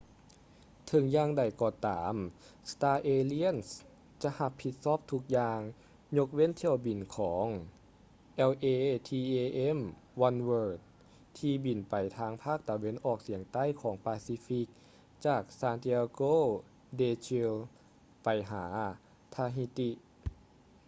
ເຖິງຢ່າງໃດກໍຕາມ star alliance ຈະຮັບຜິດຊອບທຸກຢ່າງຍົກເວັ້ນຖ້ຽວບິນຂອງ latam oneworld ທີ່ບິນໄປທາງພາກຕາເວັນອອກສຽງໃຕ້ຂອງປາຊີຟິກຈາກ santiago de chile ໄປຫາ tahiti